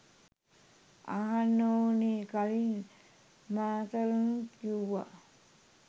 අහන්න ඕනෙ කලින් මාතලනුත් කිව්වා